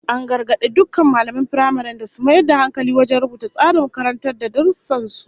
An gargadi dukkan mallaman firamaren da su mayar da hankali wajen rubuta tsarin karantar da darussan su